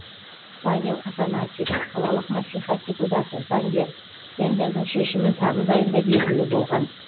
павел афанасьев қалалық мәслихат депутаты заңгер тендердің шешімі тамыз айында белгілі болған